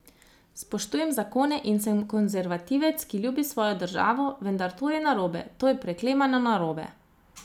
Spoštujem zakone in sem konzervativec, ki ljubi svojo državo, vendar to je narobe, to je preklemano narobe.